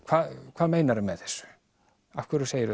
hvað meinarðu með þessu af hverju segirðu